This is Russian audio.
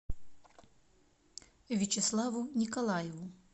вячеславу николаеву